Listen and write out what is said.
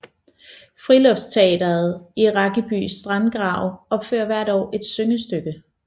Friluftsteatret i Rakkeby Sandgrav opfører hver år et syngestykke